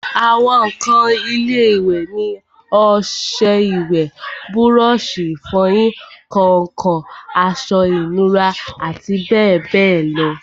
àwọn ǹkan ilé-ìwẹ̀ ni ọsẹ ìwẹ̀, búrọ̀sì ìfọyín, kàǹkàn, aṣọ ìnura àti bẹ́ẹ̀bẹ́ẹ̀ lọ